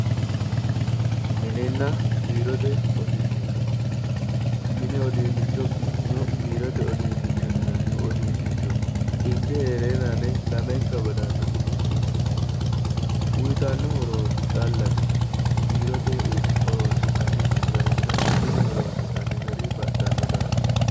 Mininna biirote uduunicho, mini. uduunichono biirote uduunichono uduunichoho ikke heerenanni lamenka baddanosirichi uyittano horo callate, biirote horonsi'nanni garinna mine horonsi'nanni baxxino daafira